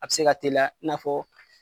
A bi se ka teliya n'afɔ